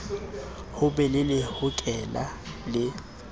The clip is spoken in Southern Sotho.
ho be le lehokela le